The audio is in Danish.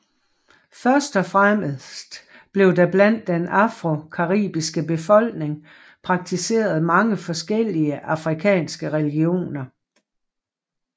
Først og fremmest blev der blandt den afrocaribiske befolkning praktiseret mange forskellige afrikanske religioner